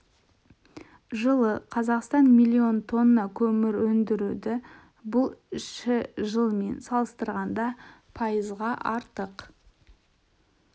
жылы қазақстан миллион тонна көмір өндірді бұл ші жылмен салыстырғанда пайызға артық